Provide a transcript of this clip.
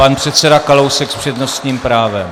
Pan předseda Kalousek s přednostním právem.